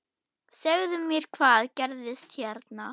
Segðu mér, hvað gerðist hérna?